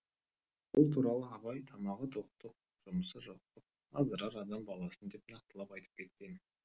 бұл туралы абай тамағы тоқтық жұмысы жоқтық аздырар адам баласын деп нақтылап айтып кеткен